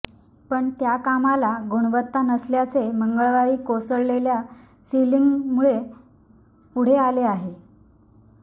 पण त्या कामाला गुणवत्ता नसल्याचे मंगळवारी कोसळलेल्या सिलिंगमुळे पुढे आले आहे